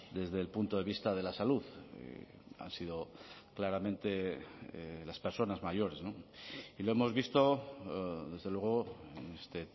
desde el punto de vista de la salud han sido claramente las personas mayores y lo hemos visto desde luego este